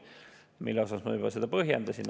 Miks, seda ma juba põhjendasin.